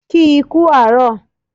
Kì í kú àárọ̀